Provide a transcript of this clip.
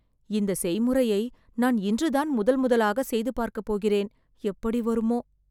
இந்த செய்முறையை நான் இன்று தான் முதல் முதலாகச் செய்து பார்க்க போகிறேன். எப்படி வருமோ